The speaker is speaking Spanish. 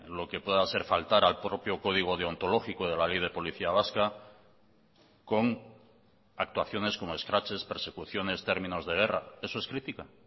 lo que pueda ser faltar al propio código deontológico de la ley de policía vasca con actuaciones como escraches persecuciones términos de guerra eso es crítica